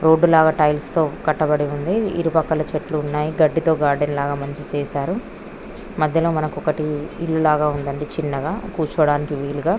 Road లాగా tiles తో కట్టబడి ఉంది ఇరుపక్కలా చెట్లు ఉన్నాయి గడ్డితో గార్డెన్ లాగ మంచిగా చేశారు మధ్యలో మనకు ఒకటి ఇల్లులాగా ఉంది అండి చిన్నగా కూర్చోడానికి వీలుగా.